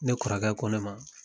Ne kɔrɔkɛ ko ne ma